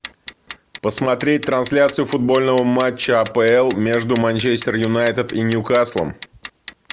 посмотреть трансляцию футбольного матча апл между манчестер юнайтед и ньюкаслом